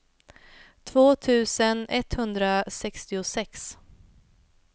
två tusen etthundrasextiosex